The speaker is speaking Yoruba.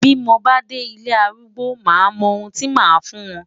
Bí mo bá dé ilé arúgbó máa mọ ohun tí màá fún wọn.